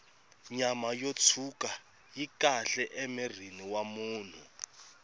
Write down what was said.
nyama yo tshwuka yi kahle emirhini wa munhu